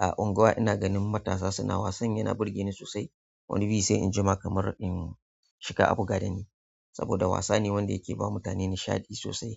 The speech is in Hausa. a unguwa ina ganin matasa suna wasan yana burge ni sosai. Wani bi sai injima kamar in shiga abuga dani saboda wasa ne wanda yake bawa mutane nishaɗi sosai.